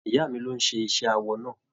Ìyá mí ló n ṣe iṣẹ awọ náà.